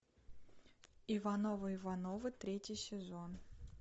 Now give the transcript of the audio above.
ивановы ивановы третий сезон